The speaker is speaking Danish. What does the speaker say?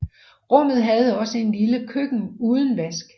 Rummet havde også et lille køkken uden vask